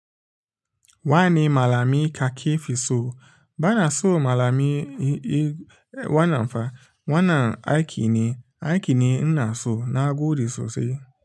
Wani malamai ka ke fi so? Bana so malamai, e wanan fa, wannan aiki ne, aiki ne ina so na gode sosai.